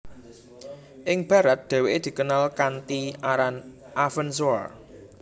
Ing barat dheweke dikenal kanthi aran Avenzoar